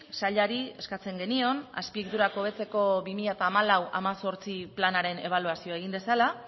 sailari eskatzen genion azpiegiturak hobetzeko hamalau hemezortzi planaren ebaluazioa egin dezala